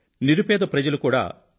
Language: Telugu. నిరుపేద ప్రజలు కూడా యు